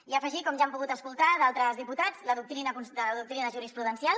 i afegir com ja han pogut escoltar d’altres diputats la doctrina jurisprudencial